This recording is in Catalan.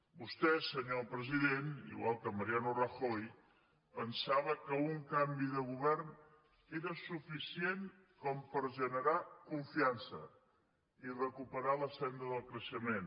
vostè senyor president igual que mariano rajoy pensava que un canvi de govern era suficient per generar confiança i recuperar la senda del creixement